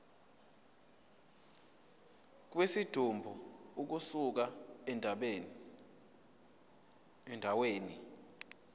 kwesidumbu ukusuka endaweni